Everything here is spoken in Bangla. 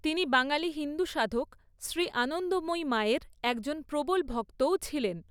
তিনি বাঙালি হিন্দু সাধক শ্রী আনন্দময়ী মায়ের একজন 'প্রবল ভক্ত'ও ছিলেন।